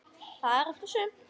Það er allt og sumt.